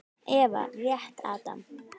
Eva rétti Adam.